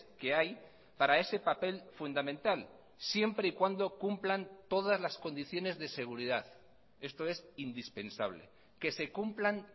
que hay para ese papel fundamental siempre y cuando cumplan todas las condiciones de seguridad esto es indispensable que se cumplan